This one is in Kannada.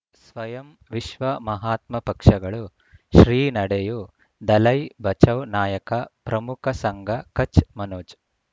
ಸ್ವಯಂ ವಿಶ್ವ ಮಹಾತ್ಮ ಪಕ್ಷಗಳು ಶ್ರೀ ನಡೆಯೂ ದಲೈ ಬಚೌ ನಾಯಕ ಪ್ರಮುಖ ಸಂಘ ಕಚ್ ಮನೋಜ್